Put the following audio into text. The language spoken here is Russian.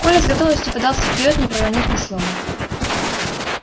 коля с готовностью подался вперёд не проронив ни слова